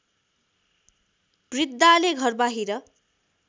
वृद्धाले घरबाहिर